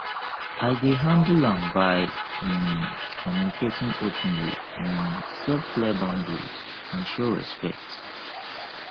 i dey handle am by um communicating openly um set clear boundaries and show respect